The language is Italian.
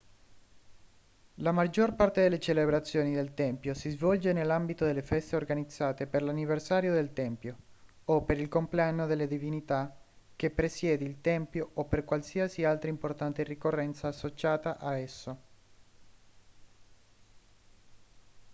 la maggior parte delle celebrazioni del tempio si svolge nell'ambito delle feste organizzate per l'anniversario del tempio o per il compleanno della divinità che presiede il tempio o per qualsiasi altra importante ricorrenza associata a esso